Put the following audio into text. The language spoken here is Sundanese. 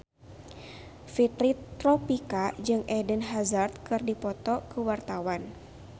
Fitri Tropika jeung Eden Hazard keur dipoto ku wartawan